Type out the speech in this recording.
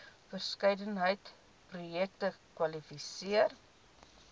verskeidenheid projekte kwalifiseer